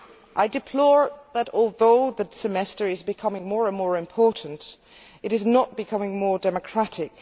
I deplore the fact that, although the Semester is becoming more and more important, it is not becoming more democratic.